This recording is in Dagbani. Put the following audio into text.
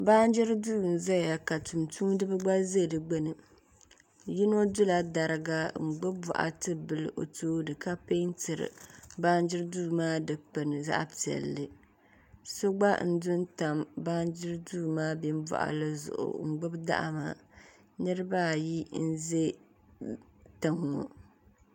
baanjiri duu n-zeya ka tumtumidiba gba ze di gbuni yino dula dariga n-gbubi bɔɣati bila o tooni ka pɛɛntiri baanjiri duu maa dukpuni zaɣ'piɛlli so gba n-du n-tam baanjiri duu maa bim'bɔɣili zuɣu n-gbubi daɣu maa niriba ayi n-ze tiŋa ŋɔ